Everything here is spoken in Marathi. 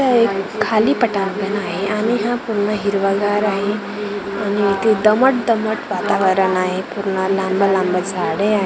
हे एक खाली पटांगण आहे आणि हा पूर्ण हिरवागार आहे आणि इथे दमट दमट वातावरण आहे पूर्ण लंबे लंबे झाडे आहेत .